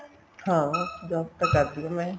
ਹਾਂ job ਤਾਂ ਕਰਦੀ ਆ ਮੈਂ